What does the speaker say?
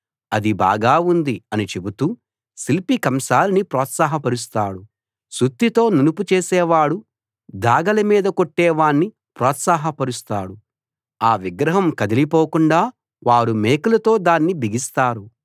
అది బాగా ఉంది అని చెబుతూ శిల్పి కంసాలిని ప్రోత్సాహపరుస్తాడు సుత్తెతో నునుపు చేసేవాడు దాగలి మీద కొట్టేవాణ్ణి ప్రోత్సాహపరుస్తాడు ఆ విగ్రహం కదిలిపోకుండా వారు మేకులతో దాన్ని బిగిస్తారు